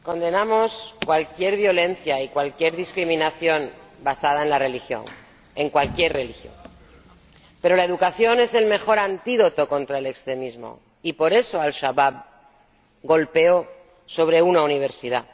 Señor Presidente, condenamos cualquier violencia y cualquier discriminación basada en la religión, en cualquier religión. Pero la educación es el mejor antídoto contra el extremismo y, por eso, Al Shabab golpeó en una universidad.